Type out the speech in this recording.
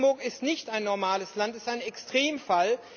Luxemburg ist nicht ein normales Land, es ist ein Extremfall.